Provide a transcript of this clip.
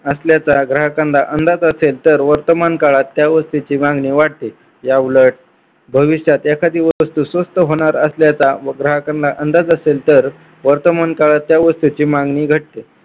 असल्याचा ग्राहकांना अंदाज असेल तर वर्तमान काळात त्या वस्तूची मागणी वाढते. याउलट भविष्यात एखादी वस्तू स्वस्त होणार असल्याचा ग्राहकांना अंदाज असेल तर वर्तमान काळात या वस्तूची मागणी घटते.